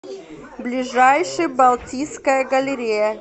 ближайший балтийская галерея